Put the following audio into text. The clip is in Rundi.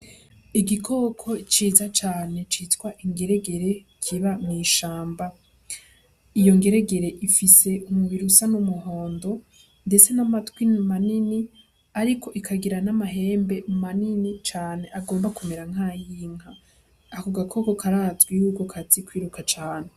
Igikoko ciza cane citwa ingeregere kiba mw'ishamba. Iyo ngeregere ifise umubiri usa n'umuhondo, ndetse n'amatwi manini, ariko ikagira n'amahembe manini cane agomba kumera nk'ay'inka. Ako gakoko karazwi ko kazi kwiruka cane.